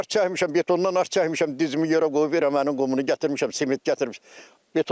Arx çəkmişəm betondan, arx çəkmişəm, dizimi yerə qoyub verəminin qumunu gətirmişəm, sement gətirmişəm.